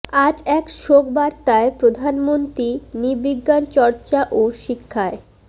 আজ এক শোক বার্তায় প্রধানমন্ত্রী নৃবিজ্ঞান চর্চা ও শিক্ষায় ড